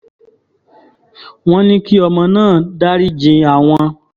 wọ́n ní kí ọmọ náà dariji àwọn